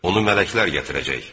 Onu mələklər gətirəcək.